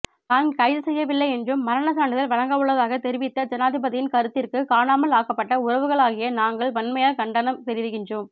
தான் கைதுசெய்யவில்லை என்றும் மரணசான்றிதழ் வழங்கவுள்ளதாக தெரிவித்த ஜனாதிபதியின் கருத்திற்கு காணாமல் ஆக்கப்பட்ட உறவுகளாகிய நாங்கள் வன்மையாக கண்டனம் தெரிவிக்கின்றோம்